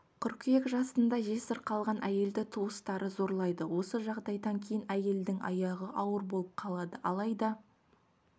қыркүйек жасында жесір қалған әйелді туысқаны зорлайды осы жағдайдан кейін әйелдің аяғы ауыр болып қалады алайда